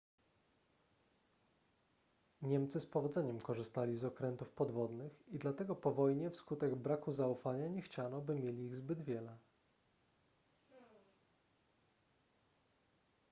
niemcy z powodzeniem korzystali z okrętów podwodnych i dlatego po wojnie wskutek braku zaufania nie chciano by mieli ich zbyt wiele